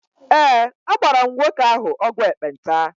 Ee, agbara m nwoke ahụ ọgwụ ekpenta.